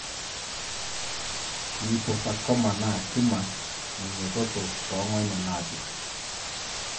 Liposarcoma naa tumor neinyototo tongonyo napir.